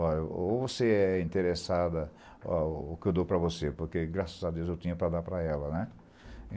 Olha ou você é interessada o que eu dou para você, porque, graças a Deus, eu tinha para dar para ela, né?